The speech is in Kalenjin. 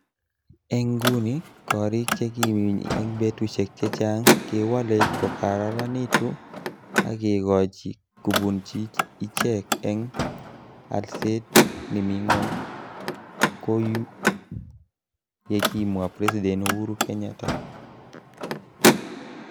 Eng inguni ,korik chekiminy eng betushek checha'ng kewalei kokararanitu agekoji kubunchi ichek eng alset nimi ngo'ny ko u ye kimwa President Uhuru Kenyatta.